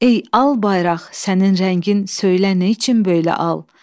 Ey al bayraq, sənin rəngin söylə neçün böylə al?